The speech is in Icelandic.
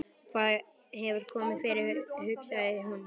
Hvað hefur komið fyrir, hugsaði hún.